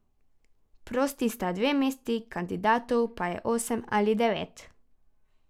Prosti sta dve mesti, kandidatov pa je osem ali devet.